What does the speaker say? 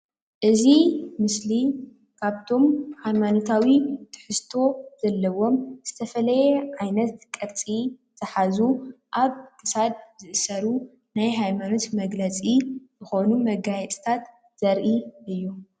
እዚ ምስሊ ካብቶም ሃይማኖታዊ ትሕዝቶ ዘለዎም ዝተፈለየ ዓይነት ቅርፂ ዘሓዙ አብ ክሳድ ዝእሰሩ ናይ ሃይማኖት መግለፂ ዝኮኑ መጋየፂታት ዘሪኢ እዩ፡፡